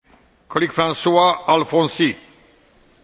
Monsieur le Président, le rapport de M.